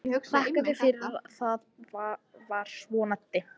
Þakkaði fyrir að það var svona dimmt.